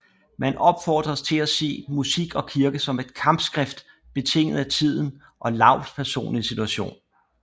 Man opfordres til at se Musik og Kirke som et kampskrift betinget af tiden og Laubs personlige situation